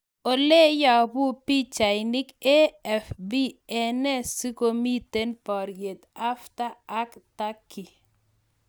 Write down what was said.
oleyapu pichainik AFP enee sigomiten paryeet Hafter ak Turkey